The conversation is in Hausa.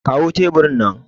kawo teburin nan